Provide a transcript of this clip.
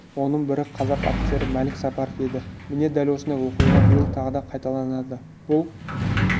оның бірі қазақ офицері мәлік сапаров еді міне дәл осындай оқиға биыл тағы да қайталанды бұл